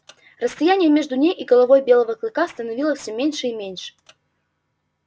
расстояние между ней и головой белого клыка становилось все меньше и меньше